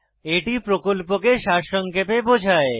এটি প্রকল্পকে সারসংক্ষেপে বোঝায়